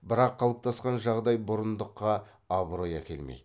бірақ қалыптасқан жағдай бұрындыққа абырой әкелмейді